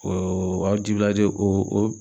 O